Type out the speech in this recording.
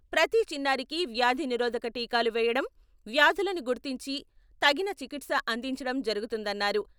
ప్రతి చిన్నారికీ వ్యాధి నిరోధక టీకాలు వేయడం, వ్యాధులను గుర్తించి తగిన చికిత్స అందించడం జరుగుతుందన్నారు.